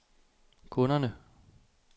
kunderne